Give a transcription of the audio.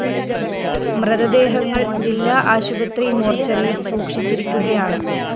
മൃതദേഹങ്ങള്‍ ജില്ലാ ആശുപത്രി മോര്‍ച്ചറിയില്‍ സൂക്ഷിച്ചിരിക്കുകയാണ്